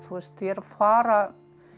að fara